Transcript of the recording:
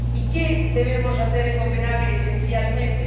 ¿Y qué debemos hacer en Copenhague, esencialmente?